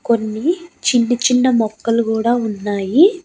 కొన్ని చిన్ని చిన్న మొక్కలు గూడా ఉన్నాయి.